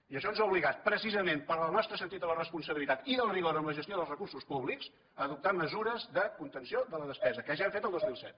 i això ens ha obligat precisament pel nostre sentit de la responsabilitat i del rigor en la gestió dels recursos públics a adoptar mesures de contenció de la despesa que ja hem fet el dos mil set